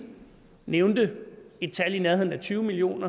nævnte et tal i nærheden af tyve million